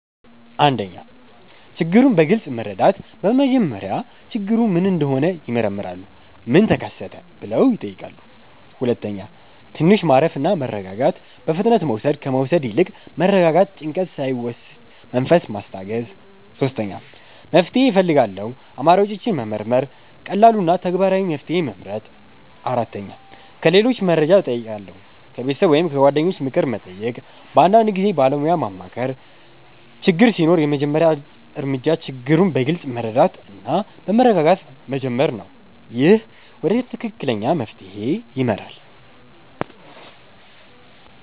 1. ችግሩን በግልጽ መረዳት በመጀመሪያ ችግሩ ምን እንደሆነ ይመረምራሉ “ምን ተከሰተ?” ብለው ይጠይቃሉ 2. ትንሽ ማረፍ እና መረጋጋት በፍጥነት መውሰድ ከመውሰድ ይልቅ መረጋጋት ጭንቀት ሳይወስድ መንፈስ ማስታገስ 3. መፍትሄ እፈልጋለሁ አማራጮችን መመርመር ቀላሉ እና ተግባራዊ መፍትሄ መመርጥ 4. ከሌሎች መርጃ እጨይቃለሁ ከቤተሰብ ወይም ከጓደኞች ምክር መጠየቅ በአንዳንድ ጊዜ ባለሞያ ማማከር ችግር ሲኖር የመጀመሪያ እርምጃ ችግሩን በግልጽ መረዳት እና በመረጋጋት መጀመር ነው። ይህ ወደ ትክክለኛ መፍትሄ ይመራል።